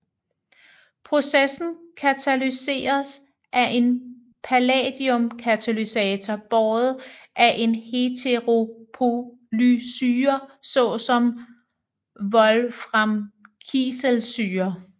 Processen katalyseres af en palladiumkatalysator båret af en heteropolysyre såsom wolframkiselsyre